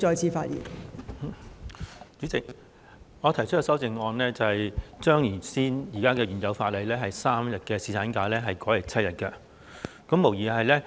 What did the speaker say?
代理主席，我提出修正案，以把現行法例的3天侍產假增加至7天。